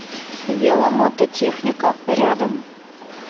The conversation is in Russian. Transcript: веломототехника рядом